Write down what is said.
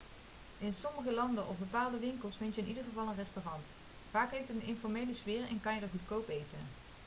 in sommige landen of bepaalde winkels vind je in ieder geval één restaurant vaak heeft het een informele sfeer en kan je er goedkoop eten